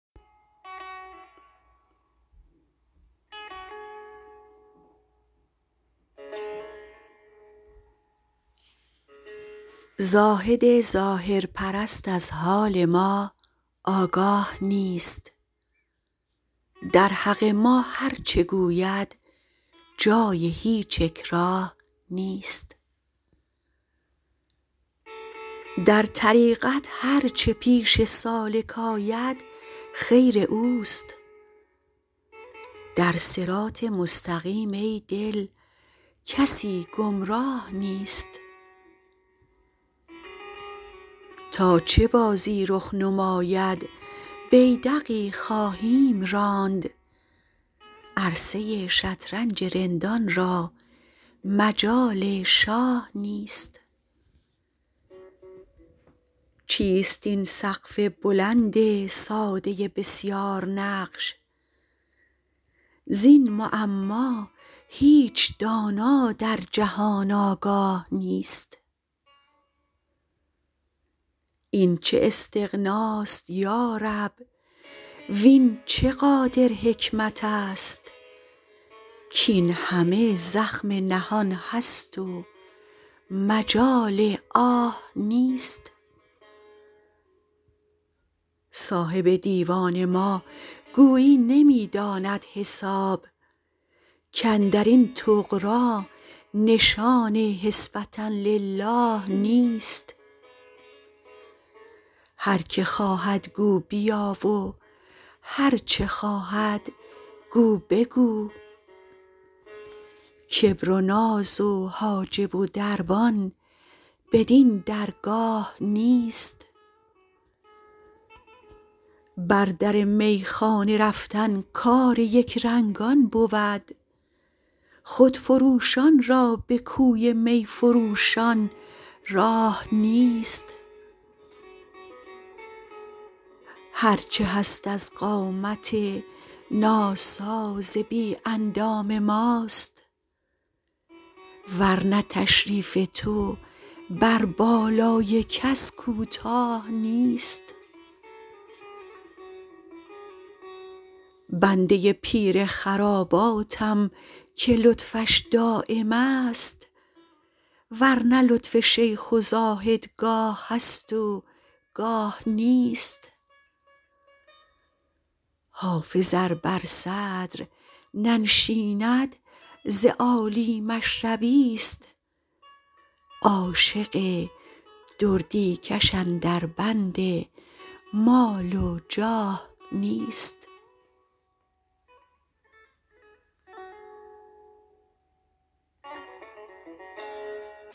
زاهد ظاهرپرست از حال ما آگاه نیست در حق ما هرچه گوید جای هیچ اکراه نیست در طریقت هرچه پیش سالک آید خیر اوست در صراط مستقیم ای دل کسی گمراه نیست تا چه بازی رخ نماید بیدقی خواهیم راند عرصه ی شطرنج رندان را مجال شاه نیست چیست این سقف بلند ساده بسیارنقش زین معما هیچ دانا در جهان آگاه نیست این چه استغناست یا رب وین چه قادر حکمت است کاین همه زخم نهان است و مجال آه نیست صاحب دیوان ما گویی نمی داند حساب کاندر این طغرا نشان حسبة للٰه نیست هر که خواهد گو بیا و هرچه خواهد گو بگو کبر و ناز و حاجب و دربان بدین درگاه نیست بر در میخانه رفتن کار یکرنگان بود خودفروشان را به کوی می فروشان راه نیست هرچه هست از قامت ناساز بی اندام ماست ور نه تشریف تو بر بالای کس کوتاه نیست بنده ی پیر خراباتم که لطفش دایم است ور نه لطف شیخ و زاهد گاه هست و گاه نیست حافظ ار بر صدر ننشیند ز عالی مشربی ست عاشق دردی کش اندر بند مال و جاه نیست